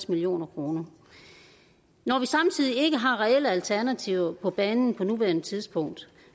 million kroner når vi samtidig ikke har reelle alternativer på banen på nuværende tidspunkt